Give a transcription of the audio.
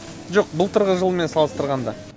жоқ былтырғы жылмен салыстырғанда